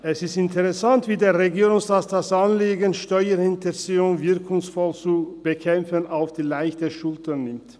Es ist interessant, wie der Regierungsrat das Anliegen, Steuerhinterziehung wirkungsvoll zu bekämpfen, auf die leichte Schulter nimmt.